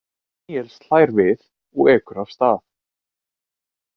Níels hlær við og ekur af stað.